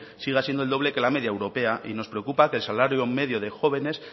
siga siendo el doble que la media europea y nos preocupa que el salario medio de jóvenes